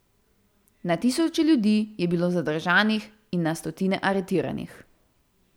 Na tisoče ljudi je bilo zadržanih in na stotine aretiranih.